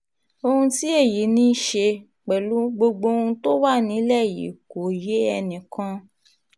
ohun tí èyí ní í ṣe um pẹ̀lú gbogbo ohun tó wà nílẹ̀ yìí kò yé ẹnì kan um